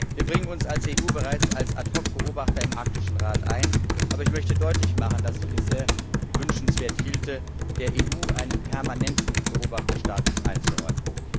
Wir bringen uns als EU bereits als Ad hoc Beobachter im Arktischen Rat ein, aber ich möchte deutlich machen, dass ich es für sehr wünschenswert hielte, der EU einen permanenten Beobachterstatus einzuräumen.